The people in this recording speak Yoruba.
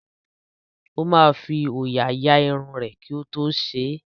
Ó máa fi òòyà ya irun rẹ̀ kí ó tó ṣe é.